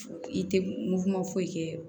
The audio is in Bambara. I tɛ mugu ma foyi kɛ